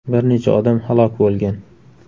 Bir necha odam halok bo‘lgan.